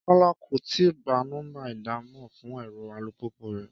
Kọ́lá kò ì tíì gba nọ́mbà ìdámọ̀ fún ẹ̀rọ alùpùpù rẹ̀